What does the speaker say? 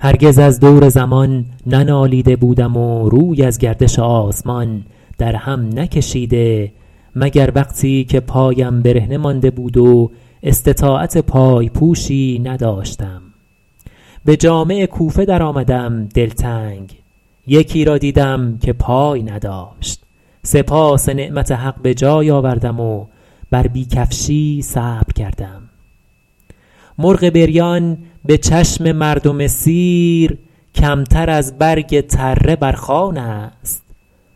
هرگز از دور زمان ننالیده بودم و روی از گردش آسمان در هم نکشیده مگر وقتی که پایم برهنه مانده بود و استطاعت پای پوشی نداشتم به جامع کوفه در آمدم دلتنگ یکی را دیدم که پای نداشت سپاس نعمت حق به جای آوردم و بر بی کفشی صبر کردم مرغ بریان به چشم مردم سیر کمتر از برگ تره بر خوان است